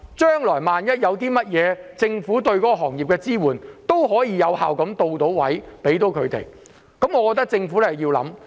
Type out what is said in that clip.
將來萬一有甚麼事，政府便可以有效到位地支援這些行業，我覺得政府真的要思考一下。